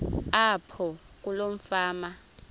apho kuloo fama